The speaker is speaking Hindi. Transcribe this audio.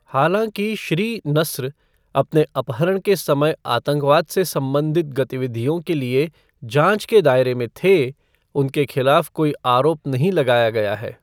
हालांकि श्री नस्र अपने अपहरण के समय आतंकवाद से संबंधित गतिविधियों के लिए जाँच के दायरे में थे, उनके खिलाफ कोई आरोप नहीं लगाया गया है।